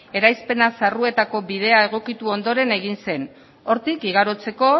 eraispena sarruetako bidea egokitu ondoren egin zen hortik igarotzeko